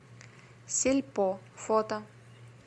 сельпо фото